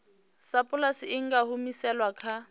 sapulasi i nga humiselwa kha